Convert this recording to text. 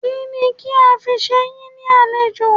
Kínni kí a fi ṣe yín ní àlejò?